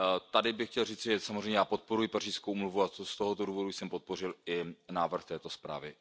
Tady bych chtěl říci, já samozřejmě podporuji Pařížskou úmluvu a z tohoto důvodu jsem podpořil i návrh této zprávy.